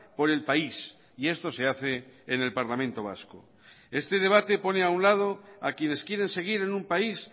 por el país y esto se hace en el parlamento vasco este debate pone a un lado a quienes quieren seguir en un país